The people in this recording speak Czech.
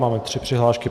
Mám tři přihlášky.